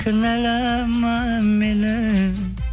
кінәлама мені